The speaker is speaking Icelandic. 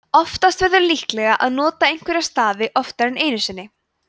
oftast verður líklega að nota einhverja stafi oftar en einu sinni